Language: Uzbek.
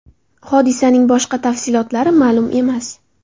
Hodisaning boshqa tafsilotlari ma’lum emas.